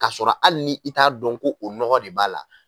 K'a sɔrɔ hali ni i t'a dɔn ko o nɔgɔ de b'a la.